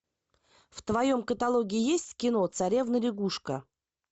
в твоем каталоге есть кино царевна лягушка